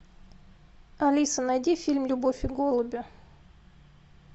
алиса найди фильм любовь и голуби